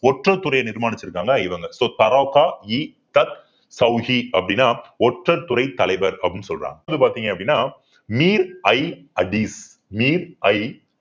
ஒற்றர் துறையை நிர்மாணிச்சிருக்காங்க இவங்க so அப்படின்னா ஒற்றர்துறை தலைவர் அப்படின்னு சொல்றாங்க இது வந்து பார்த்தீங்க அப்பிடின்னா